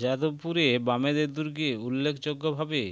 যাদবপুরে বামেদের দূর্গে উল্লেখযোগ্যভাবে